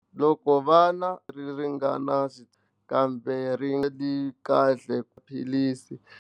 Loko vana ri ringana kambe ri nga ri kahle maphilisi.